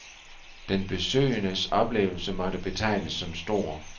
Den besøgendes oplevelse måtte betegnes som stor.